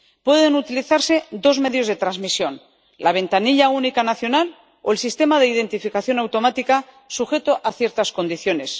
Pueden utilizarse dos medios de transmisión la ventanilla única nacional o el sistema de identificación automática, sujeto a ciertas condiciones.